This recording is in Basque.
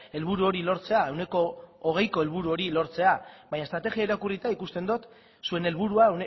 helburu hori lortzea ehuneko hogeiko helburu hori lortzea baina estrategia irakurrita ikusten dut zuen helburua